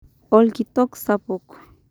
Orkitok sapuk